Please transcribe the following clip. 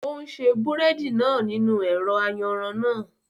O n ṣe búrẹ́dì náà nínú ẹ̀rọ ayanran náà